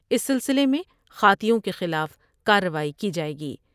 اس سلسلے میں خاطیوں کے خلاف کاروائی کی جائے گی ۔